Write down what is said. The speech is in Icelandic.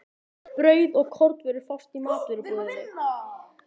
Brauð og kornvörur fást í matvörubúðinni.